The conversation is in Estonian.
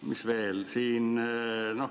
Mis veel?